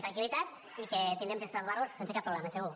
tranquil·litat i que tindrem temps per aprovar lo sense cap problema segur